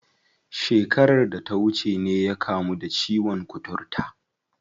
Shekarar da ta wuce ne ya kamu da ciwon kuturta.